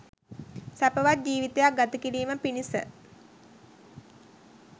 සැපවත් ජීවිතයක් ගතකිරීම පිණිස